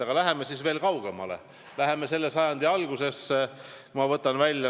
Aga läheme siis veel kaugemale, läheme selle sajandi algusesse!